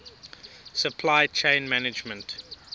supply chain management